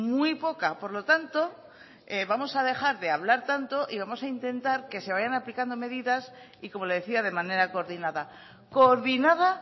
muy poca por lo tanto vamos a dejar de hablar tanto y vamos a intentar que se vayan aplicando medidas y como le decía de manera coordinada coordinada